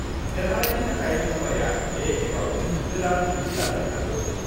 देरहानायनि थाखाय मुम्बाइआ बे खेबआव गोदान थांखि लानो हागौ।